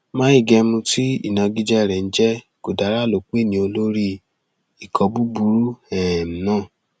mai gemu um tí ìnagijẹ rẹ ń jẹ godara ló pè ní olórí ikọ burúkú um náà